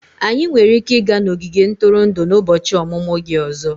Anyị nwere ike ịga n'ogige ntụrụndụ n'ụbọchị ọmụmụ gị ọzọ.